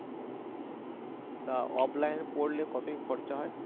তা offline পড়লে কত কি খরচা হয়?